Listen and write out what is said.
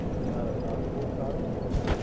બારા, આ તો બૌ સારું કેવાય